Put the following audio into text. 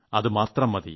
അത് മാത്രം മതി